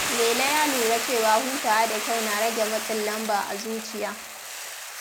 Lele ya lura cewa hutawa da kyau na rage matsin lamba a zuciya.